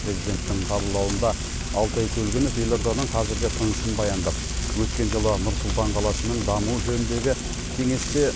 президенттің қабылдауында алтай көлгінов елорданың қазіргі тынысын баяндап өткен жылы нұр сұлтан қаласының дамуы жөніндегі кеңесте